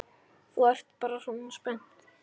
Þú ert bara svona spennt.